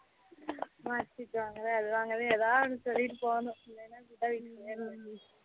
marksheet வாங்கல அது வாங்கல ஏதாவது சொல்லிட்டு போனும் இல்லனா குத்த வச்சிட்டே இருக்கணும்